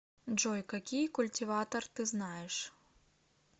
джой какие культиватор ты знаешь